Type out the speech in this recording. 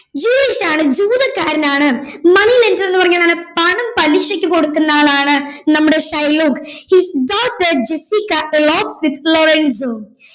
Jewish ആണ് ജൂതക്കാരനാണ് money lender എന്ന് പറഞ്ഞാൽ എന്താണ് പണം പലിശയ്ക്ക് കൊടുക്കുന്ന ആളാണ് നമ്മുടെ Shylock his daughter jessica loves with Lorenzo